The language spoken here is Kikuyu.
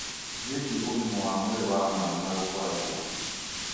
wĩgiĩ ũgima wa mwĩrĩ wa mwana na gũkũra gwake.